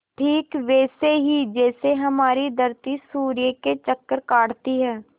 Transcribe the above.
ठीक वैसे ही जैसे हमारी धरती सूर्य के चक्कर काटती है